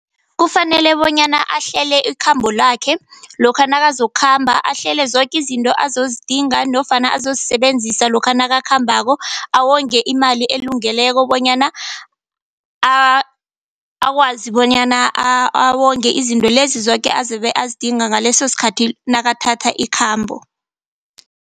Kufanele bonyana ahlele ikhambo lakhe, lokha nakazokukhamba. Ahlele zoke izinto azozidinga nofana azozisebenzisa lokha nakakhambako, awonge imali elungeleko bonyana akwazi bonyana awonge izinto lezi zoke azabe azigidinga ngaleso sikhathi nakathatha ikhambo.